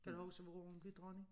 Kan du huske hvornår hun blev dronning?